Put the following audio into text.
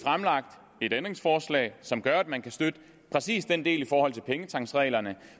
et ændringsforslag som gør at man kan støtte præcis den del i forhold til pengetanksreglerne